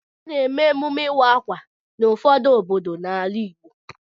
A na-eme emume ịwa ákwà n'ụfọdụ obodo n'ala Igbo.